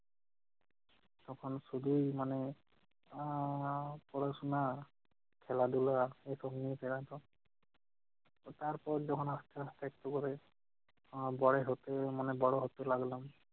তখন শুধু মানে আহ পড়াশোনা খেলাধুলা এবং নিজেরা সব তারপর যখন আস্তে আস্তে একটু করে আহ বড় হতে মানে বড় হতে লাগলাম-